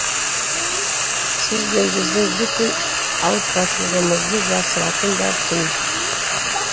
сіз бен біздің бүкіл ауыртпашылығымызды жасыратын да түн